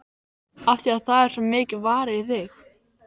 Af því að það er svo mikið varið í þig.